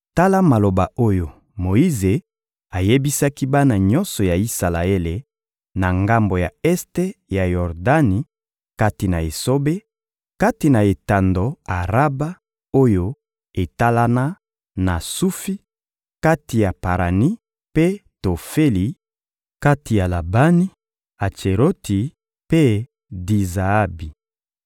Tala maloba oyo Moyize ayebisaki bana nyonso ya Isalaele na ngambo ya este ya Yordani kati na esobe, kati na etando Araba oyo etalana na Sufi, kati ya Parani mpe Tofeli, kati ya Labani, Atseroti mpe Di-Zaabi.